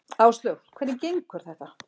Áslaug: Hvernig gengur þetta?